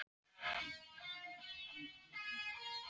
Spurningin er þá, hvenær?